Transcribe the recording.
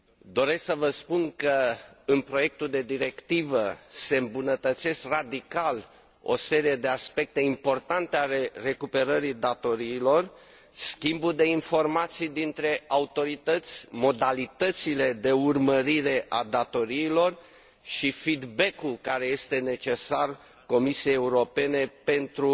Doresc să vă spun că, în proiectul de directivă, se îmbunătățesc radical o serie de aspecte importante ale recuperării datoriilor schimbul de informații dintre autorități, modalitățile de urmărire a datoriilor și feedbackul care este necesar Comisiei Europene pentru